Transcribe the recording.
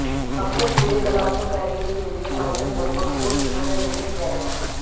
अपने पूरे कलात्मक कैरियर के लिए माइकल लगभग सौ चित्रों में अभिनय किया है